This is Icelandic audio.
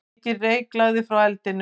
Mikinn reyk lagði frá eldinum.